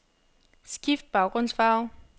Skift baggrundsfarve.